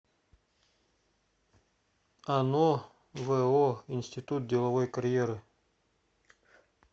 ано во институт деловой карьеры